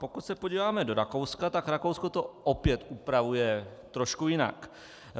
Pokud se podíváme do Rakouska, tak Rakousko to opět upravuje trošku jinak.